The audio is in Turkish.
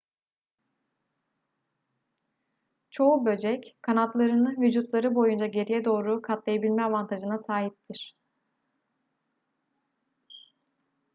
çoğu böcek kanatlarını vücutları boyunca geriye doğru katlayabilme avantajına sahiptir